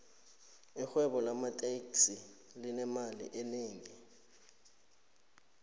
irhwebo lamateksi linemali enengi